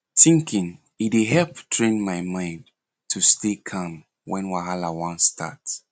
thinking e dey help train my mind to stay calm when wahala wan start